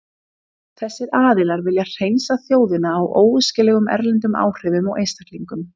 Þessir aðilar vilja hreinsa þjóðina af óæskilegum erlendum áhrifum og einstaklingum.